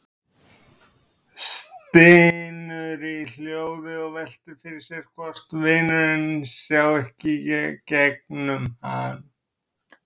Stynur í hljóði og veltir fyrir sér hvort vinurinn sjái ekki í gegnum hann.